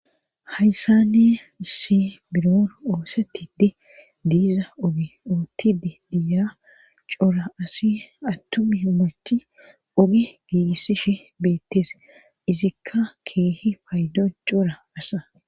hayssa ne issi biron oosettiddi diiza ogi oottidi diya cora asi attumi himmacthi ogi giigissishi beetteese izikka keehi paaydo cora asa